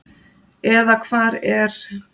eða hvar er?